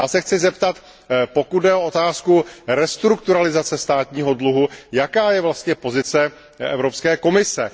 Já se chci zeptat, pokud jde o otázku restrukturalizace státního dluhu, jaká je vlastně pozice Evropské komise?